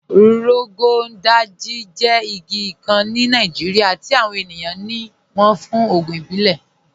Rọgọn Dàjì jẹ́ igi kàn ní Nàìjíríà tí awọn ènìyàn ní wọ́n fún ògùn ìbílẹ̀.